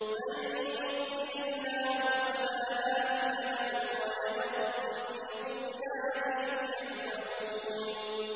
مَن يُضْلِلِ اللَّهُ فَلَا هَادِيَ لَهُ ۚ وَيَذَرُهُمْ فِي طُغْيَانِهِمْ يَعْمَهُونَ